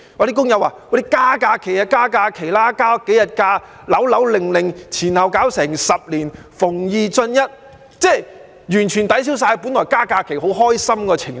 工友說局方只增加數天假期便"扭扭擰擰"，前後需要10年，"逢二進一"，完全抵銷本來增加假期很開心的情緒。